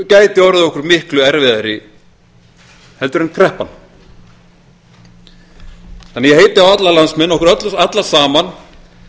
gæti orðið okkur miklu erfiðari en kreppan ég heiti því á alla landsmenn okkur alla saman